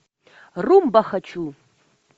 румба хочу